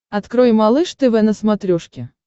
открой малыш тв на смотрешке